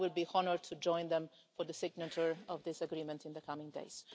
I will be honoured to join them for the signature of this agreement in the coming days.